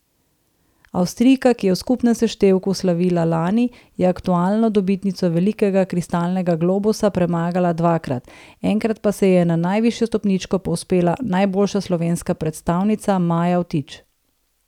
Avstrijka, ki je v skupnem seštevku slavila lani, je aktualno dobitnico velikega kristalnega globusa premagala dvakrat, enkrat pa se je na najvišjo stopničko povzpela najboljša slovenska predstavnica Maja Vtič.